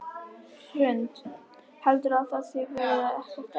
Hrund: Heldurðu að það verði ekkert erfitt?